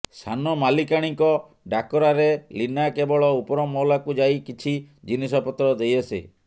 ସାନ ମାଲିକାଣୀଙ୍କ ଡାକରାରେ ଲୀନା କେବଳ ଉପରମହଲାକୁ ଯାଇ କିଛି ଜିନିଷପତ୍ର ଦେଇଆସେ